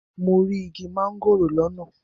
Mo rí igi mángòrò lọ́nà.